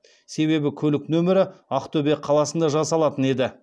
себебі көлік нөмірі ақтөбе қаласында жасалатын еді